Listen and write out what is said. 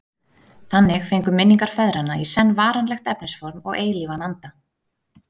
Þannig fengu minningar feðranna í senn varanlegt efnisform og eilífan anda.